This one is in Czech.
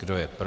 Kdo je pro?